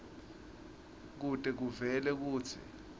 kute kuvele kutsi